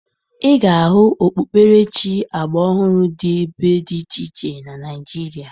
Ị ga-ahụ okpukperechi agbaọhụrụ dị ebe dị iche iche na Naịjirịa